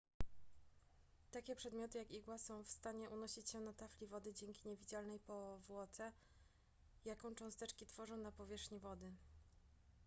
takie przedmioty jak igła są w stanie unosić się na tafli wody dzięki niewidzialnej powłoce jaką cząsteczki tworzą na powierzchni wody